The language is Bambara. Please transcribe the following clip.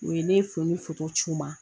U ye ne ye fini ci u ma